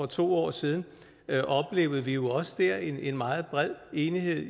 to år siden oplevede vi jo også dér en meget bred enighed